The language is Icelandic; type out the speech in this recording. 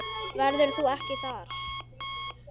Verður þú ekki þar?